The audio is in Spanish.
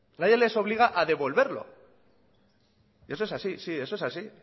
nadie les obliga a devolverlo y eso es así sí eso es así